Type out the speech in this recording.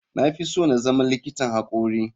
Na fi so na zama likitan hakori.